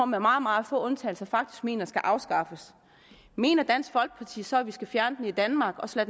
med meget meget få undtagelser faktisk mener skal afskaffes mener dansk folkeparti så at vi skal fjerne den i danmark og så